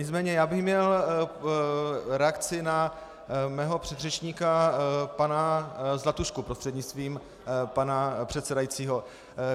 Nicméně já bych měl reakci na svého předřečníka pana Zlatušku prostřednictvím pana předsedajícího.